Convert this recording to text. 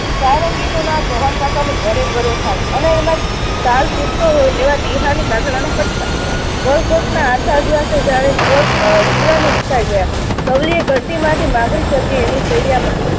સારંગીનો નાદ ભવનકાકાનો ભર્યો ભર્યો સાદ અને એમાં તાલ પુરતો હોય એવો ટીહાનો નો પટકાર. ના આછા દિવસે જાણે અમ દૂધવાની રિસાઈ ગયા. સવલીએ ઘડતીમાંથી માગણી થતી એવી માં